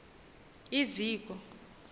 iziko